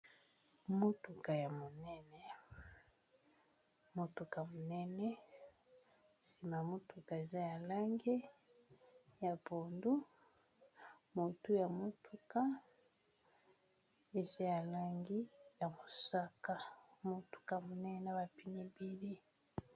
Motuka ya monene, motuka monene nsima motuka eza ya langi ya pondo motu ya motuka eza ya langi ya mosaka motuka monene ya ba pneu ebele.